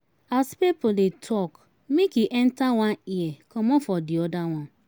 As pipo de talk make e entert one ear comot for di other one